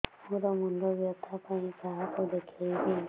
ମୋର ମୁଣ୍ଡ ବ୍ୟଥା ପାଇଁ କାହାକୁ ଦେଖେଇବି